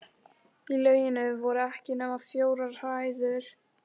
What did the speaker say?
Í lauginni voru ekki nema fjórar hræður.